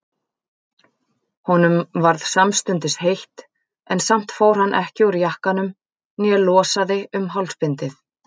Honum varð samstundis heitt, en samt fór hann ekki úr jakkanum né losaði um hálsbindið.